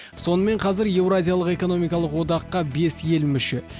сонымен қазір еуразиялық экономикалық одаққа бес ел мүше